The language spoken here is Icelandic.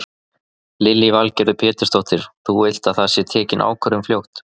Lillý Valgerður Pétursdóttir: Þú vilt að það sé tekin ákvörðun fljótt?